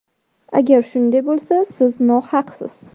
Agar shunday bo‘lsa, siz nohaqsiz.